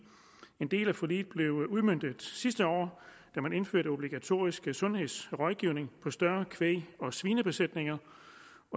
en del af forliget blev udmøntet sidste år da man indførte obligatorisk sundhedsrådgivning på større kvæg og svinebesætninger